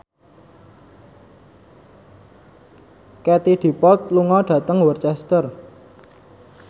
Katie Dippold lunga dhateng Worcester